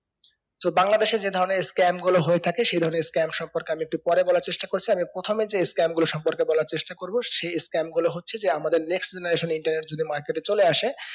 so বাংলাদেশে যে ধরণের scam গুলো হয়ে থাকে সেই ধরণের scam সম্পর্কে আমি একটু পরে বলার চেষ্টা করছি আমি প্রথমে যে scam গুলোর সম্পকে বলার চেষ্টা করবো সে scam গুলো হচ্ছে যে আমাদের next generation internet যদি market এ চলে আসে